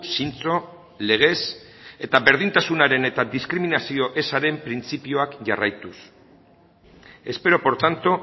zintzo legez eta berdintasunaren eta diskriminazio ezaren printzipioak jarraituz espero por tanto